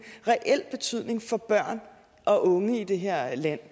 reel betydning for børn og unge i det her land